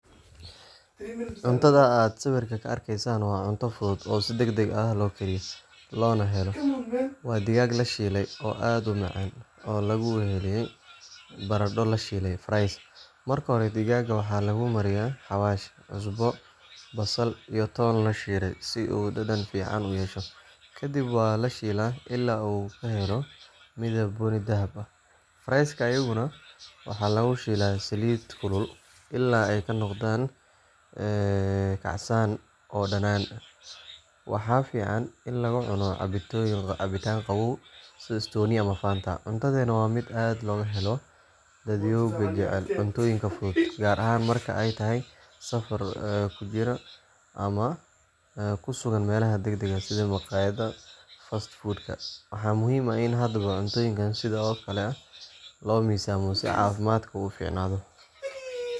Cuntadan aad sawirka ka arkaysaan waa cunto fudud oo si degdeg ah loo kariyo, loona helo. Waa digaag la shiilay oo aad u macaan, oo lagu weheliyay baradho la shiilay fries. Marka hore digaagga waxaa lagu mariyaa xawaash, cusbo, basal iyo toon la shiiday si uu dhadhan fiican u yeesho, kadibna waa la shiilaa ilaa uu ka helo midab bunni dahabi ah. fries ka iyaguna waxaa lagu shiilaa saliid kulul ilaa ay ka noqdaan kacsan oo dhanaan. Waxaa fiican in lagu cuno cabitaan qabow sida Stoney ama Fanta. Cuntadani waa mid aad looga helo dadyowga jecel cuntooyinka fudud, gaar ahaan marka aad tahay qof safar ku jira ama ku sugan meelaha degdega sida maqaayadaha fast food-ka. Waxaa muhiim ah in hadba cuntooyinka sidan oo kale ah loo miisaamo si caafimaadku u fiicnaado.